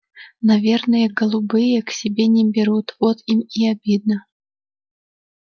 наверное голубые к себе не берут вот им и обидно